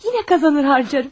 Yine qazanır harcarım.